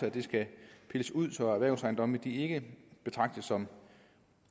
at det skal pilles ud så erhvervsejendomme ikke betragtes som